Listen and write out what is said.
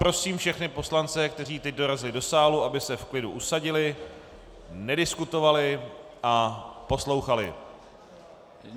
Prosím všechny poslance, kteří teď dorazili do sálu, aby se v klidu usadili, nediskutovali a poslouchali.